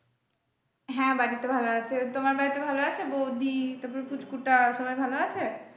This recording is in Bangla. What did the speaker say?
হ্যাঁ বাড়িতে ভালো আছে, তোমার বাড়িতে ভালো আছে? বৌদি তারপর পুচকু টা সবাই ভালো আছে?